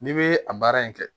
N'i bɛ a baara in kɛ